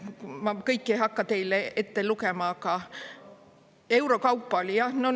Ma kõiki ei hakka teile ette lugema, aga euro kaupa oli jah.